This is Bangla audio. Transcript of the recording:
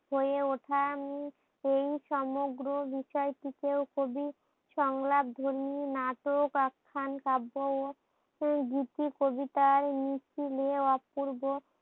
হয়ে উঠা উম এই সমগ্র বিষয়টিকে ও কবি সংলাপ ধর্মী নাটক একখান কাব্য ও গুটি কবিতার মিষ্টি লিএ অপূর্বর